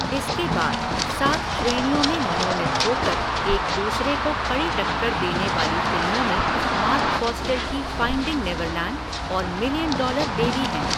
इसके बाद, सात श्रेणियों में मनोनीत हो कर एक दूसरे को कड़ी टक्कर देने वाली फ़िल्मों में मार्क फ़ॉस्टर की फ़ाइंडिंग नेवरलैंड और मिलियन डॉलर बेबी हैं।